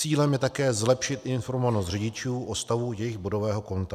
Cílem je také zlepšit informovanost řidičů o stavu jejich bodového konta.